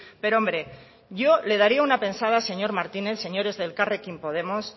pero hombre yo le daría una pensada señor martínez señores de elkarrekin podemos